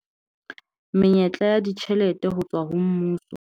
Menyetla ya ditjhelete ho tswa ho mmuso